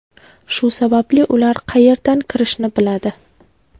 Shu sababli ular qayerdan kirishni biladi.